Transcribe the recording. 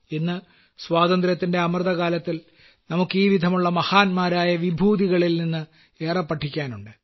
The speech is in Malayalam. ഇന്ന് സ്വാതന്ത്ര്യത്തിന്റെ അമൃതകാലത്തിൽ നമുക്ക് ഇപ്രകാരമുള്ള മഹാന്മാരായ വ്യക്തിത്വങ്ങളിൽ നിന്ന് ഏറെ പഠിക്കാനുണ്ട്